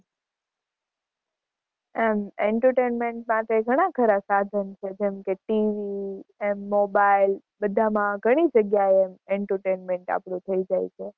એમ entertainment માટે ઘણાં ખરા સાધન છે જેમ કે TV એમ Mobile બધા મા ઘણી જગ્યાએ એમ entertainment આપણું થઇ જાય છે.